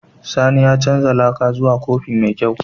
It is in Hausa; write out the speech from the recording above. Sani ya canza laka zuwa kofi mai kyau.